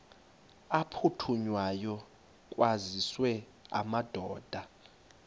aphuthunywayo kwaziswe amadoda